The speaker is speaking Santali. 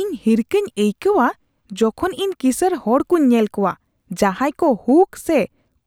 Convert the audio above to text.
ᱤᱧ ᱦᱤᱨᱠᱷᱟᱹᱧ ᱟᱹᱭᱠᱟᱹᱣᱼᱟ ᱡᱚᱠᱷᱚᱱ ᱤᱧ ᱠᱤᱥᱟᱹᱬ ᱦᱚᱲ ᱠᱚᱧ ᱧᱮᱞ ᱠᱚᱣᱟ ᱡᱟᱦᱟᱸᱭ ᱠᱚ ᱦᱩᱠ ᱥᱮ